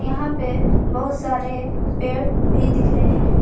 यहां पे बहुत सारे पेड़ भी दिख रहे हैं।